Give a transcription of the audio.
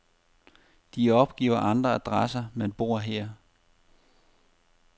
De opgiver andre adresser, men bor her.